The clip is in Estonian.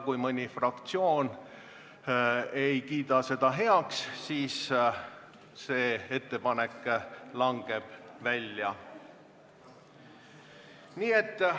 Kui mõni fraktsioon ei kiida ettepanekut heaks, siis see langeb välja.